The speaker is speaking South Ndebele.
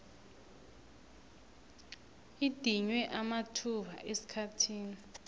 idinywe amathuba esikhathini